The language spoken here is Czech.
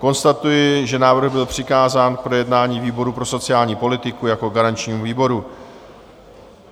Konstatuji, že návrh byl přikázán k projednání výboru pro sociální politiku jako garančnímu výboru.